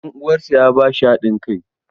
Ɗan uwansa ya ba shi hadin kai.